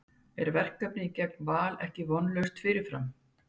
En er verkefnið gegn Val ekki vonlaust fyrirfram?